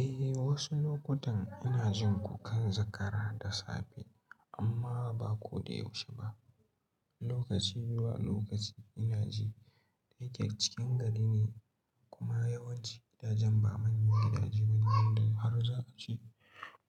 Eh, wasu lokutan ina jin kukan zakara da safe amma ba ko da yaushe ba. Lokaci zuwa lokaci ina ji. Da yake cikin gari ne kuma yawanci gidajen ba manyan gidaje ba ne wanda harza a ci